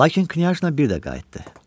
Lakin knyajna bir də qayıtdı.